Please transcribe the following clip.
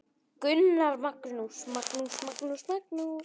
Gunnar Magnús.